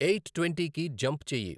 Eight twenty కి jump చెయ్యి.